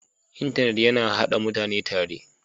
intanet yana haɗa / Haɗa mutane tare